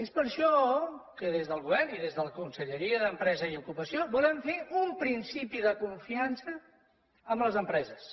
és per això que des del govern i des de la conselleria d’empresa i ocupació volem fer un principi de confiança amb les empreses